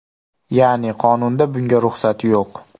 Ya’ni qonunda bunga ruxsat yo‘q.